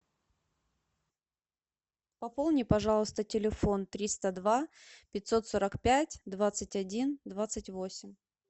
пополни пожалуйста телефон триста два пятьсот сорок пять двадцать один двадцать восемь